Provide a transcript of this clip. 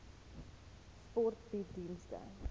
sport bied dienste